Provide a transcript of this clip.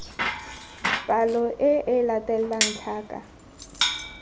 palo e e latelang tlhaka